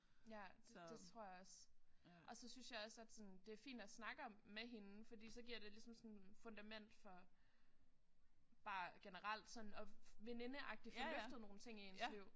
Ja det det tror jeg også. Og så synes jeg også at sådan det er fint at snakke om med hende fordi så giver det ligesom sådan fundament for sådan bare generelt sådan at venindeagtigt få løftet nogle ting i ens liv